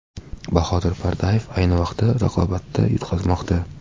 Bahodir Pardayev ayni paytda raqobatda yutqazmoqda.